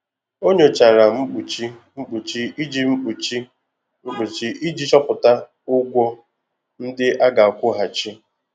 Ọ nyochara mkpuchi mkpuchi iji mkpuchi mkpuchi iji chọpụta ụgwọ ndị a ga-akwụghachi.